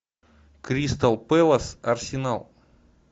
кристал пэлас арсенал